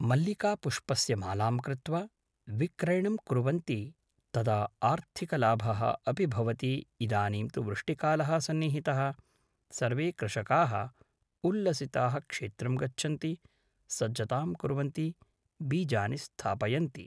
मल्लिकापुष्पस्य मालां कृत्वा विक्रयणं कुर्वन्ति तदा आर्थिकलाभः अपि भवति इदानीं तु वृष्टिकालः सन्निहितः सर्वे कृषकाः उल्लसिताः क्षेत्रं गच्छन्ति सज्जतां कुर्वन्ति बीजानि स्थापयन्ति